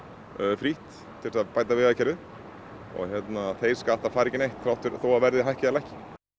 frítt til að bæta vegakerfið og þeir skattar fara ekki neitt þó að verðið hækki eða lækki